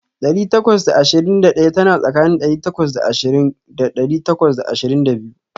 Ɗari takwas da ashirin da ɗaya tana tsakanin ɗari takwas da ashirin da ɗari takwas da ashirin da biyu.